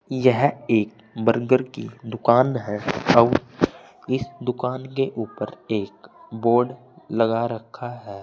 यह एक बर्गर की दुकान है आउर इस दुकान के ऊपर एक बोर्ड लगा रखा है।